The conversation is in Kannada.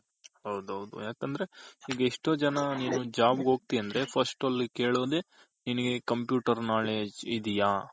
ಹೌದ್ ಹೌದ್ ಯಾಕಂದ್ರೆ ಈಗ ಎಷ್ಟೋ ಜನ ನೀನು job ಒಗ್ತ್ಯ ಅಂದ್ರೆ first ಅಲ್ಲಿ ಕೆಲ್ಲೋದೆ ನಿನಗೆ ಕಂಪ್ಯೂಟರ್ knowledge ಇದ್ಯ .